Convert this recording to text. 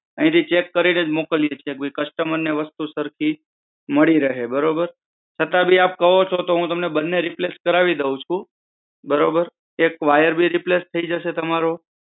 અહીંથી ચેક કરીનેજ મોકલીએ છીએ કે ભઈ customer ને વસ્તુ સરખી મળી રહે. બરોબર? છતાં ભી આપ કહો છો તો હું તમને બન્ને replace કરાવી દઉં છું. બરોબર? એક વાયર ભી replace થઇ જશે તમારો.